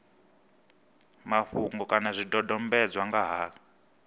mafhungo kana zwidodombedzwa nga ha